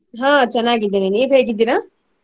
ಹಾ ಚನ್ನಾಗಿದ್ದೀನಿ ನೀವ್ ಹೇಗ್ ಇದ್ದೀರಾ?